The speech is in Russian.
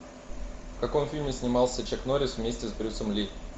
в каком фильме снимался чак норрис вместе с брюсом ли